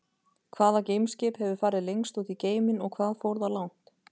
Hvaða geimskip hefur farið lengst út í geiminn og hvað fór það langt?